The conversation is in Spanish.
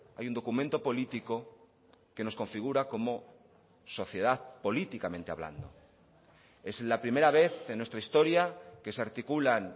hay un documento político que nos configura como sociedad políticamente hablando es la primera vez en nuestra historia que se articulan